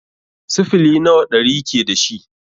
Sifili nawa ɗari ke dashi?